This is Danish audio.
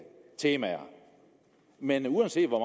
temaer men uanset hvor